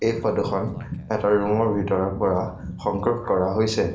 এই ফটোখন এটা ৰুমৰ ভিতৰৰ পৰা সংগ্ৰহ কৰা হৈছে।